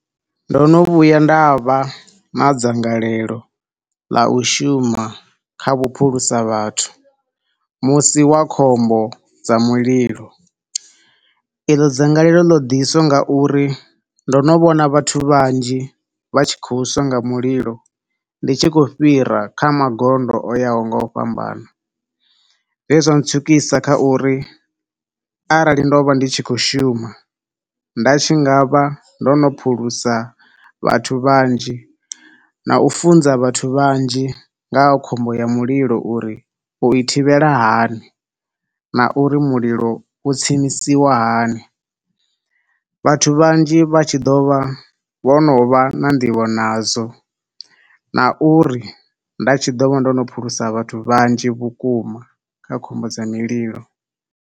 Ndo no vhuya nda vha na dzangalelo ḽa u shuma kha vhuphulusa vhathu musi wa khombo dza mulilo. Eḽo dzangalelo ḽo ḓiswa nga uri ndo no vhona vhathu vhanzhi vha tshi khou swa nga mulilo, ndi tshi khou fhira kha magondo o yaho ngo u fhambana. He zwa tswikisa kha uri arali ndo vha ndi tshi khou shuma nda tshi nga vha ndo no phulusa vhathu vhanzhi na u funza vhathu vhanzhi nga ha khombo ya mulilo uri u i thivhela hani na uri mulilo u tsimisiwa hani. Vhathu vhanzhi vha tshi ḓo vha vho no vha na nḓivho nazwo, na uri nda tshi ḓo vha ndo no phulusa vhathu vhanzhi vhukuma kha khombo dza mililo.